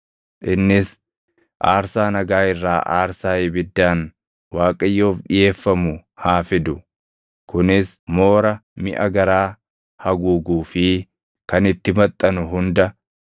Innis aarsaa nagaa irraa aarsaa ibiddaan Waaqayyoof dhiʼeeffamu haa fidu; kunis moora miʼa garaa haguuguu fi kan itti maxxanu hunda,